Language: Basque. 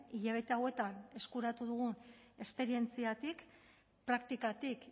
hilabete hauetan eskuratu dugun esperientziatik praktikatik